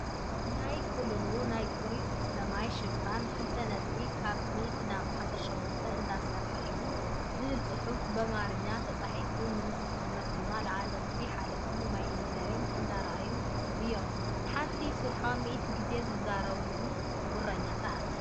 ናይ ክልሉ ናይ ፅሩይ ዝስተማይ ሽፋን ብክልተ ነጥቢ ካብ 100 ናብ 18 እንዳሰርሐ እዩ ዝብል ፅሑፍ ብኣማርኛ ተፃሒፉ ንምስኽርነት ድማ ላዕለዎት ሓለፍቲ ማይ ኢነርጅን እንዳ ኣርኣዩ እዮም። ሓንቲ ሰሪሖም 100 ግዜ ዝዛረቡ ጉረኛታት!